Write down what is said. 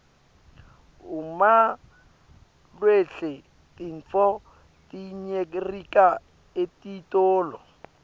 umawlhlsle tintfo tiyceryka etitolo